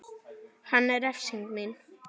Hann er refsing mín.